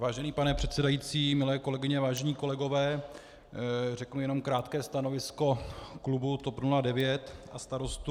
Vážený pane předsedající, milé kolegyně, vážení kolegové, řeknu jen krátké stanovisko klubu TOP 09 a Starostů.